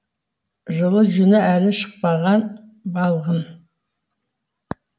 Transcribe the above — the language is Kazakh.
жылы жүні әлі шықпаған балғын